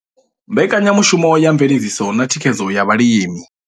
Mbekanyamushumo ya Mveledziso na Thikhedzo ya Vhalimi.